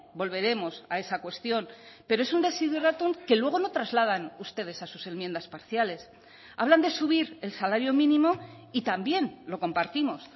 volveremos a esa cuestión pero es un desiderátum que luego no trasladan ustedes a sus enmiendas parciales hablan de subir el salario mínimo y también lo compartimos